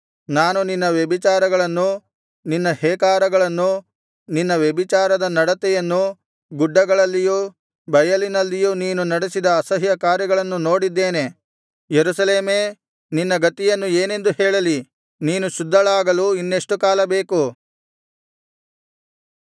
ನಾನು ನಿನ್ನ ವ್ಯಭಿಚಾರಗಳನ್ನು ನಿನ್ನ ಹೇಕಾರಗಳನ್ನು ನಿನ್ನ ವ್ಯಭಿಚಾರದ ನಡತೆಯನ್ನು ಗುಡ್ಡಗಳಲ್ಲಿಯೂ ಬಯಲಿನಲ್ಲಿಯೂ ನೀನು ನಡೆಸಿದ ಅಸಹ್ಯಕಾರ್ಯಗಳನ್ನು ನೋಡಿದ್ದೇನೆ ಯೆರೂಸಲೇಮೇ ನಿನ್ನ ಗತಿಯನ್ನು ಏನೆಂದು ಹೇಳಲಿ ನೀನು ಶುದ್ಧಳಾಗಲು ಇನ್ನೆಷ್ಟು ಕಾಲ ಬೇಕು